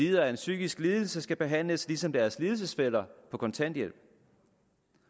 har en psykisk lidelse skal behandles ligesom deres lidelsesfæller på kontanthjælp